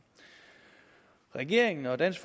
regeringen og dansk